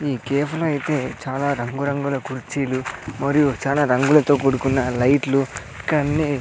ఈ కేఫ్ లో ఐతే చాలా రంగు రంగుల కుర్చీలు మరియు చాలా రంగులతో కూడుకున్న లైట్లు ఇక అన్ని--